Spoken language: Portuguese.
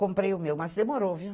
Comprei o meu, mas demorou, viu?